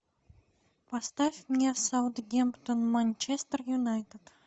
поставь мне саутгемптон манчестер юнайтед